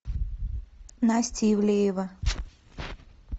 настя ивлеева